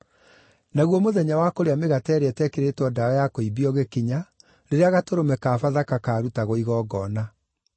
Naguo mũthenya wa kũrĩa Mĩgate ĩrĩa Ĩtekĩrĩtwo Ndawa ya Kũimbia ũgĩkinya, rĩrĩa gatũrũme ka Bathaka kaarutagwo igongona.